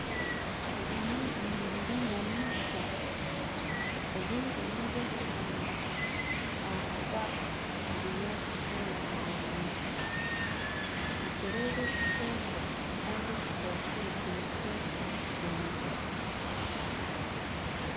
Eri nirundiro ry'enyamaishwa obwire nobwekyanda ahakuba obunyaatsi bwona bwomire nitureeba ekikooko kandi ekikooko eki nikyetwa engwe